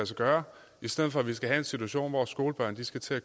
sig gøre i stedet for at vi skal have en situation hvor skolebørn skal